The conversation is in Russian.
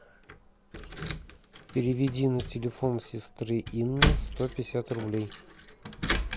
переведи на телефон сестры инны сто пятьдесят рублей